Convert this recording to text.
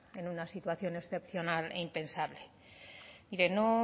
en una situación excepcional e impensable mire no